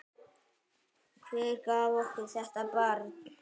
Hver gaf okkur þetta barn?